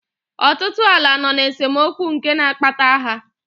Ọtụtụ ala nọ n'esemokwu nke na-akpata agha.